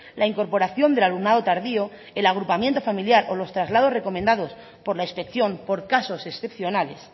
la incorporación del alumnado tardío el agrupamiento familiar o los traslados recomendados por la inspección por casos excepcionales